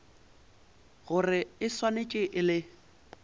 gore e swanetše e le